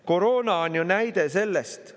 Koroona on ju näide sellest.